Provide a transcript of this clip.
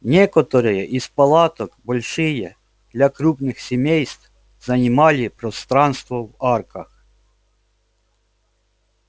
некоторые из палаток большие для крупных семейств занимали пространство в арках